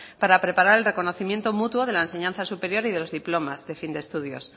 para preparar el reconocimiento mutuo de la enseñanza superior y de los diplomas de fin de estudios